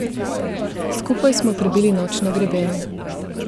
Skupaj smo prebili noč na grebenu.